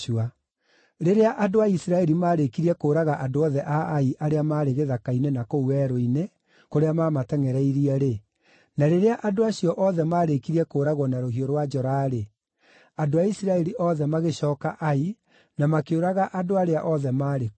Rĩrĩa andũ a Isiraeli maarĩkirie kũũraga andũ othe a Ai arĩa maarĩ gĩthaka-inĩ na kũu werũ-inĩ, kũrĩa maamatengʼereirie-rĩ, na rĩrĩa andũ acio othe maarĩkirie kũũragwo na rũhiũ rwa njora-rĩ, andũ a Isiraeli othe magĩcooka Ai na makĩũraga andũ arĩa othe maarĩ kuo.